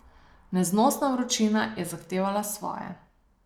Neznosna vročina je zahtevala svoje.